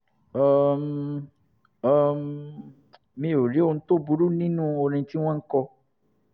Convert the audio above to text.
um um mi ò rí ohun tó burú nínú orin tí wọ́n ń kọ